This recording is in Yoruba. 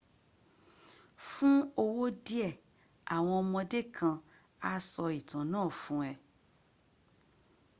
fun owo die awon omode kan a so itan naa fun e